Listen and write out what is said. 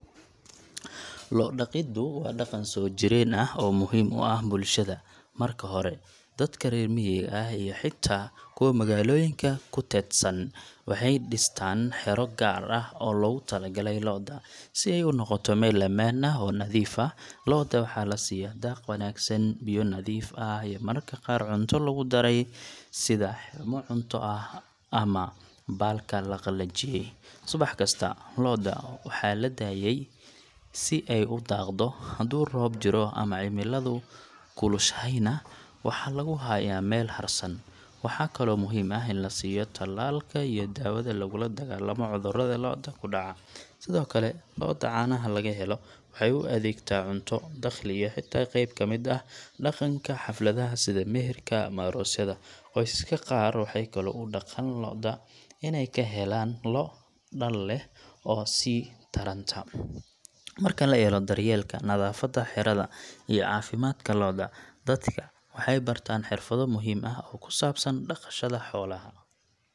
Loo daqidu wa daqan sojiren ah oo muxiim u ah bulshada, marka hore dadka rer miqa ah iyo xita kuwa maqaloyinka kutetsan, waxay distan xiro gaar ah oo logutalagalay looda, si ay u nogoto mel amaan ah oo nadif ah, loodu waxa lasiya daaq wanagsan, biyo nadiif ah, mararka qaar cunto lagudaray, sidhay u cunto ah ama balka laqalajiye, subax kasta looda waxa tadayey si ay u daaqto xadhu roob jiro ama cimiladu kulushaxayna, waxa laguxaya mel xarsan, waxakalo muxiim ah in lasiyo talalka iyo dawada laguladagalamo cudurada looda kudaca, sidhokale looda cana lagaxelo, waxay uadegtan cunto daqli ah, waxay taxay qeeb kamid ah daqanka hafladaha sidha meherka ama arosyada, qoysaska qaar waxay kalo udagan looda inay kahelan loo daal leh oo sii taranta, marka laxelo daryelka nadafada uyo cafimadka looda, daxka waxay bartan xirfado muxiim ah kusabsan daqanka bulshada xoolaxa.